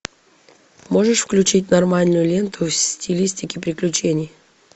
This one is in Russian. можешь включить нормальную ленту в стилистике приключений